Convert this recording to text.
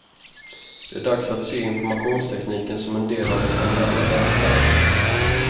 Det är dags att se informationstekniken som en del av den generella välfärden.